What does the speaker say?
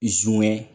Zuwɛ